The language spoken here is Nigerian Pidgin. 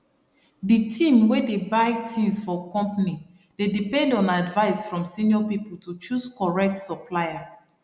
di team wey dey buy things for company dey depend on advice from senior people to choose correct supplier